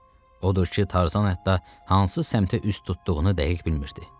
Odur ki, Tarzan hətta hansı səmtə üz tutduğunu dəqiq bilmirdi.